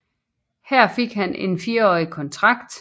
Her fik han en firårig kontrakt